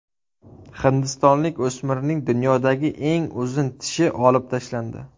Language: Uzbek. Hindistonlik o‘smirning dunyodagi eng uzun tishi olib tashlandi.